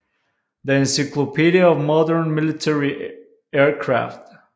The Encyclopedia of Modern Military Aircraft